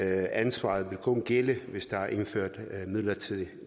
ansvaret vil kun gælde hvis der er indført midlertidig